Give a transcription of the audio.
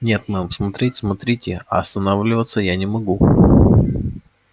нет мэм смотреть смотрите а останавливаться я не могу